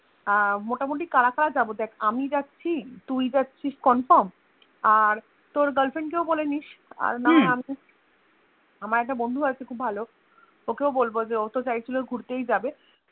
আহ মোটামুটি কারা কারা যাব দেখ আমি যাচ্ছি তুই যাচ্ছিস Confirm আর তোর girlfriend কেও বলে নিশ আমার একটা বন্ধু আছে খুব ভালো ওকেও বলবো যে ওতো চাইছিল ঘুরতেই যাবে